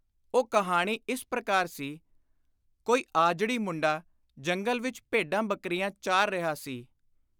ਉਹ ਕਹਾਣੀ ਇਸ ਪ੍ਰਕਾਰ ਸੀ : ਕੋਈ ਆਜੜੀ ਮੁੰਡਾ ਜੰਗਲ ਵਿਚ ਭੇਡਾਂ-ਬੱਕਰੀਆਂ ਚਾਰ ਰਿਹਾ ਸੀ।